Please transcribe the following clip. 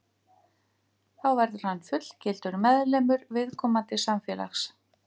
Þá verður hann fullgildur meðlimur viðkomandi samfélags.